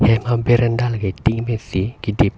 berenda tin pen si kidip.